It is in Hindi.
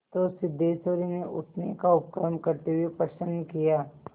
तो सिद्धेश्वरी ने उठने का उपक्रम करते हुए प्रश्न किया